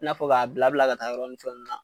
N'a fɔ ka bila bila ka taa yɔrɔn ni fɛn nunnu la.